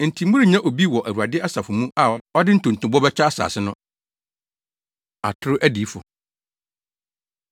Enti morennya obi wɔ Awurade asafo mu a ɔde ntontobɔ bɛkyɛ asase no. Atoro Adiyifo